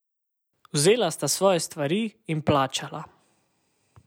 Vzela sta svoje stvari in plačala.